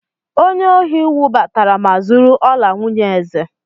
Onye ohị wụbatara ma zúrú ọlà nwunyé èzè